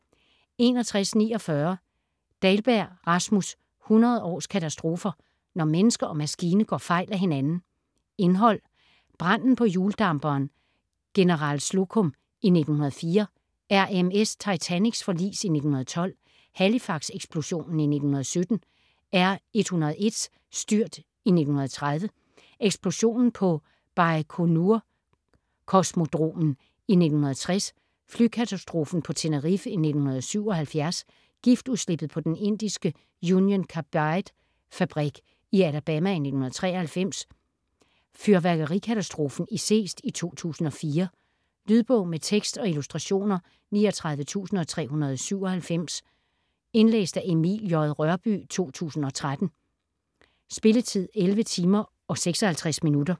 61.49 Dahlberg, Rasmus: 100 års katastrofer: når menneske og maskine går fejl af hinanden Indhold: Branden på hjuldamperen General Slocum i 1904, RMS Titanics forlis i 1912, Halifax-eksplosionen i 1917, R.101's styrt i 1930, Eksplosionen på Bajkonur-kosmodromen i 1960, Flykatastrofen på Tenerife i 1977, Giftudslippet på den indiske Union Carbide-fabrik i 1984,Nedskydningen af en iransk Airbus i 1988, Exxon Valdez' grundstødning i Prince William Sound i 1989, Togulykken ved Mobile, Alabama i 1993, Fyrværkerikatastrofen i Seest i 2004. Lydbog med tekst og illustrationer 39397 Indlæst af Emil J. Rørbye, 2013. Spilletid: 11 timer, 56 minutter.